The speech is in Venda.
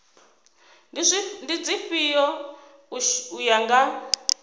ndi dzifhio u ya nga